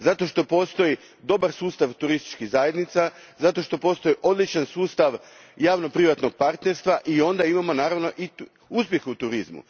Zato što postoji dobar sustav turističkih zajednica, zato što postoji odličan sustav javno privatnog partnerstva i onda imamo naravno i uspjeh u turizmu.